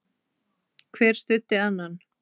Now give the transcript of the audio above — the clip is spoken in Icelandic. Hver studdi annan.